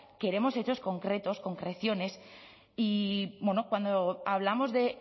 queremos hechos concretos concreciones y cuando hablamos de